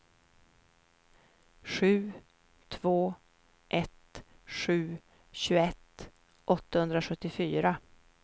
sju två ett sju tjugoett åttahundrasjuttiofyra